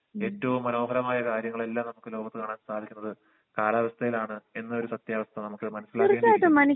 ഏറ്റോം മനോഹരമായ കാര്യങ്ങൾ എല്ലാം നമ്മുക്ക് ലോകത്ത് കാണാൻ സാധിക്കുന്നത് കാലാവസ്ഥേലാണ് എന്നൊരു സത്യാവസ്ഥ നമ്മക്ക് മനസിലാവേണ്ടിരിക്കുന്നു